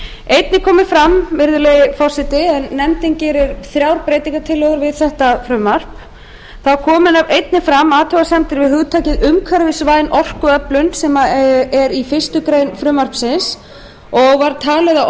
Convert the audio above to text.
einnig komu fram virðulegi forseti en nefndin gerir þrjár breytingatillögur við þetta frumvarp þá komu einnig fram athugasemdir við hugtakið umhverfisvæn orkuöflun sem er í fyrstu grein frumvarpsins og var talið að